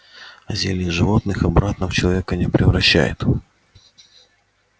а зелье животных обратно в человека не превращает